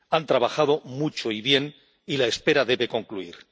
Han trabajado mucho y bien y la espera debe concluir.